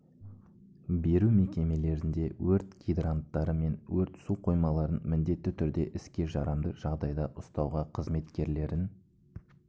беру мекемелерінде өрт гидранттары мен өрт су қоймаларын міндетті түрде іске жарамды жағдайда ұстауға қызметкерлерін